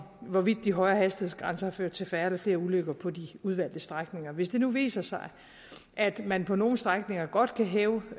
hvorvidt de højere hastighedsgrænser har ført til færre eller flere ulykker på de udvalgte strækninger hvis det nu viser sig at man på nogle strækninger godt kan hæve